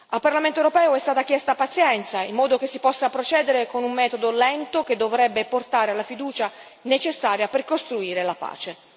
Al Parlamento europeo è stata chiesta pazienza, in modo che si possa procedere con un metodo lento che dovrebbe portare la fiducia necessaria per costruire la pace.